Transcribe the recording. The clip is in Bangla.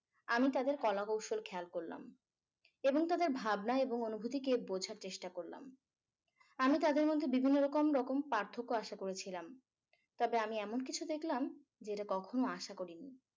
আমি তাদের কলাকৌশল খেয়াল করলাম এবং তাদের ভাবনা এবং অনুভূতিকে বোঝার চেষ্টা করলাম আমি তাদের মধ্যে বিভিন্ন রকম রকম পার্থক্য আশা করেছিলাম তবে আমি এমন কিছু দেখলাম যেটা কখনো আশা করিনি